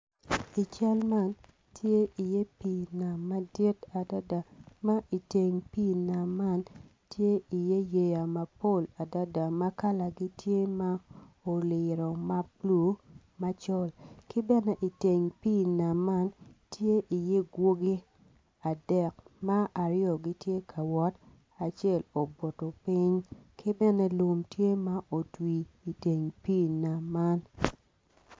I cal man tye i ye pi nam madit ma i teng pi nam man tye i ye yeya mapol adada makala ne tye ma oliro mablue macol kibene i teng pi man tye i ye gwogi adek ma aryo gitye ka wot acel obuto ping kibene lum tye ma otwir i teng pi nam man.